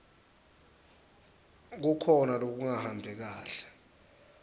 kukhona lokungahambi kahle